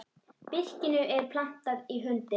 Birkinu er plantað í lundi.